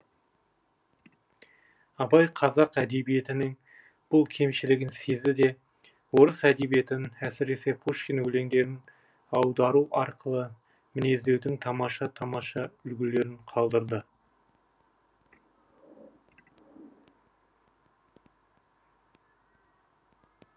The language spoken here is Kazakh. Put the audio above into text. абай қазақ әдебиетінің бұл кемшілігін сезді де орыс әдебиетін әсіресе пушкин өлеңдерін аудару арқылы мінездеудің тамаша тамаша үлгілерін қалдырды